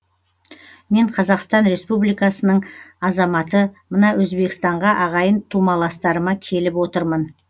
мен қазақстан республиканың азаматы мына өзбекстанға ағайын тумаластарыма келіп отырмын